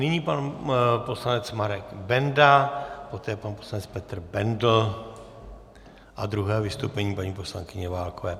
Nyní pan poslanec Marek Benda, poté pan poslanec Petr Bendl a druhé vystoupení paní poslankyně Válkové.